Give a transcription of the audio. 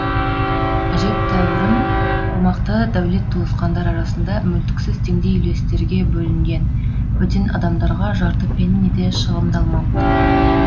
әжептәурім қомақты дәулет туысқандар арасында мүлтіксіз теңдей үлестерге бөлінген бөтен адамдарға жарты пенни де шығындалмапты